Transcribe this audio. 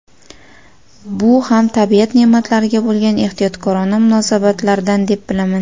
Bu ham tabiat ne’matlariga bo‘lgan ehtiyotkorona munosabatdan deb bilaman.